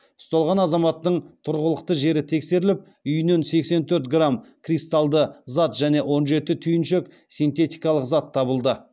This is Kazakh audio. ұсталған азаматтың тұрғылықты жері тексеріліп үйінен сексен төрт грамм кристалды зат және он жеті түйіншек синтетикалық зат табылды